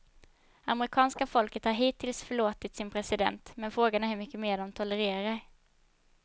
Amerikanska folket har hittills förlåtit sin president, men frågan är hur mycket mer de tolererar.